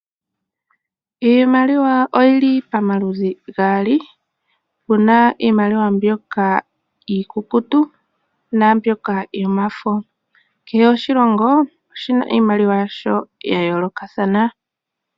Iimaliwa oyili pamaludhi gaali. Opuna iimaliwa mbyoka iikukutu na mbyoka yomafo. Kehe oshilongo oshina iimaliwa yasho ya yolokathana.